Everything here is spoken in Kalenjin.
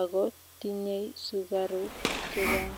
ago tinyei sugaruk chechang